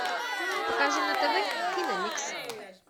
покажи на тв киномикс